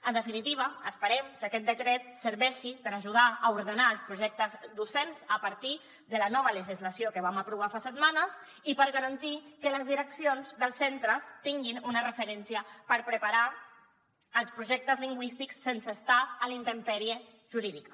en definitiva esperem que aquest decret serveixi per ajudar a ordenar els projectes docents a partir de la nova legislació que vam aprovar fa setmanes i per garantir que les direccions dels centres tinguin una referència per preparar els projectes lingüístics sense estar a la intempèrie jurídica